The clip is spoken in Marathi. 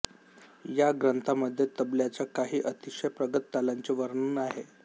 या ग्रंथामध्ये तबल्याच्या काही अतिशय प्रगत तालांचे वर्णन आहे